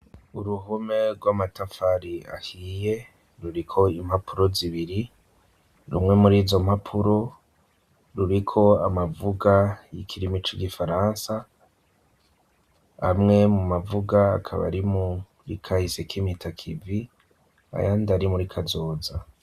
Uruhome rw'amatafari ahiye ruriko impapuro zibiri, rumwe mur'izo mpapuro ruriko amavuga y'ikirimi c'igifaransa, amwe mu mavuga akaba ari muri kahise k'impitakivi ayandi ari muri kazoza.